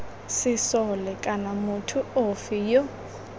sesole kana motho ofe yo